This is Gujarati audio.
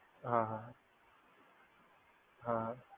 હા હા, હા હા.